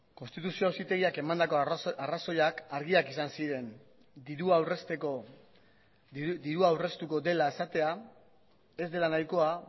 konstituzio auzitegiak emandako arrazoiak argiak izan ziren dirua aurrezteko dirua aurreztuko dela esatea ez dela nahikoa